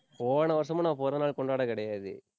போன வருஷமா நான் பிறந்த நாள் கொண்டாட கிடையாது